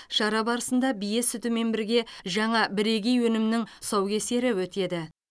шара барысында бие сүтімен бірге жаңа бірегей өнімнің тұсаукесері өтеді